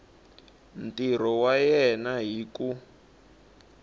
ntirho wa yena hi ku